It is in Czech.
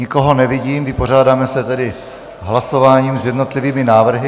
Nikoho nevidím, vypořádáme se tedy hlasováním s jednotlivými návrhy.